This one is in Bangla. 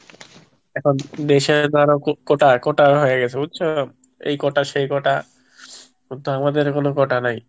এখন দেশে ধরো কোটা কোটা হয়ে গেছে বুঝছ এই কোটা সেই কোটা কিন্তু আমাদের কোনো কোটা নাই।